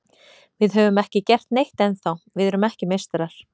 Við höfum ekki gert neitt ennþá, við erum ekki meistarar.